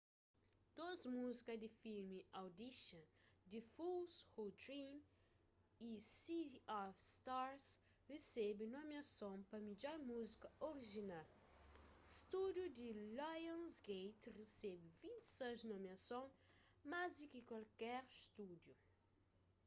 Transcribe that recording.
dôs muzika di filmi audition the fools who dream y city of stars resebe nomiason pa midjor muzika orijinal. stúdiu di lionsgate resebe 26 nomiason - más di ki kualker stúdiu